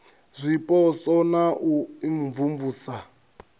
a zwipotso na u imvumvusa